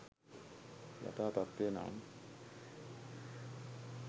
යථා තත්ත්වය නම්